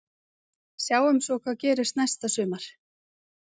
Sjáum svo hvað gerist næsta sumar.